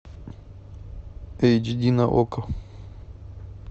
эйч ди на окко